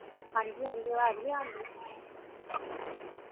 ਹਾਂਜੀ ਹਾਂਜੀ ਆਵਾਜ ਨਹੀਂ ਆਂਦੀ